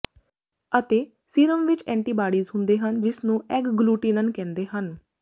ਅਤੇ ਸੀਰਮ ਵਿਚ ਐਂਟੀਬਾਡੀਜ਼ ਹੁੰਦੇ ਹਨ ਜਿਸ ਨੂੰ ਐਗਗਲੂਟਿਨਿਨ ਕਹਿੰਦੇ ਹਨ